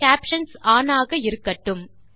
caption one ஆக இருக்கட்டும்